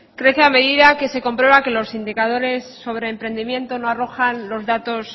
crece a medida que se comprueba que los indicadores sobre emprendimiento no arrojan los datos